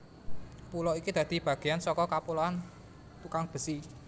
Pulo iki dadi bagéan saka Kapuloan Tukangbesi